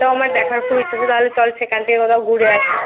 দেখার খুব ইচ্ছে ছিল চল সেখান থেকে কোথাও ঘুরে আসিI